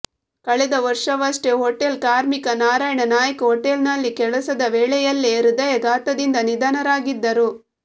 ಕಳೆದ ವರ್ಷವಷ್ಟೆ ಹೋಟೆಲ್ ಕಾರ್ಮಿಕ ನಾರಾಯಣ ನಾಯ್ಕ ಹೊಟೆಲ್ನಲ್ಲಿ ಕೆಲಸದ ವೇಳೆಯಲ್ಲೇ ಹದಯಾಘಾತದಿಂದ ನಿಧನರಾಗಿದ್ದರು